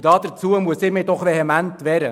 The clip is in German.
Dagegen muss ich mich vehement wehren.